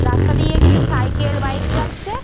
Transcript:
রাস্তা দিয়ে কিছু সাইকেল বাইক চাচ্ছে-এ।